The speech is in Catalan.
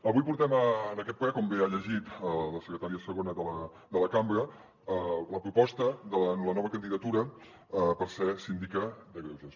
avui portem en aquest ple com bé ha llegit la secretària segona de la cambra la proposta de la nova candidatura per ser síndica de greuges